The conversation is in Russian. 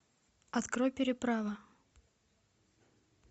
открой переправа